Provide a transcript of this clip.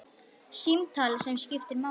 Símtal sem skiptir máli